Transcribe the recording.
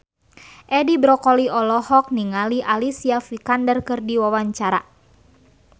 Edi Brokoli olohok ningali Alicia Vikander keur diwawancara